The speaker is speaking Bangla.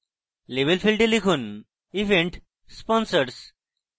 label ফীল্ডে লিখুন event sponsors